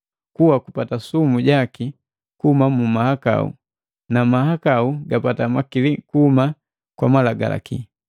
Kuwa kupata sumu jaki kuhuma mu mahakau na mahakau gapata makili kuhuma kwa Malagalaki.